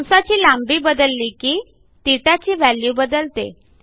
कंसाची लांबी बदलली की θची व्हॅल्यू बदलते